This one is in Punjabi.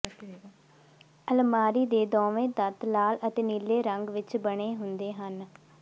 ਅਲਮਾਰੀ ਦੇ ਦੋਵੇਂ ਤੱਤ ਲਾਲ ਅਤੇ ਨੀਲੇ ਰੰਗ ਵਿਚ ਬਣੇ ਹੁੰਦੇ ਹਨ